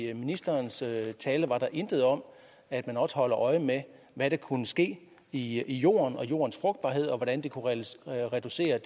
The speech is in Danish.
i ministerens tale var der intet om at man også holder øje med hvad der kunne ske i jorden og med jordens frugtbarhed og hvordan det kunne reducere